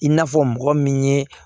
I n'a fɔ mɔgɔ min ye